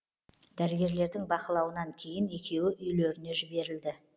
дәрігерлердің бақылауынан кейін екеуі үйлеріне жіберілді